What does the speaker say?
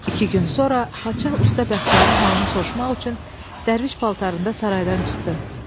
İki gün sonra padşah usta Bəxtiyarın halını soruşmaq üçün dərviş paltarında saraydan çıxdı.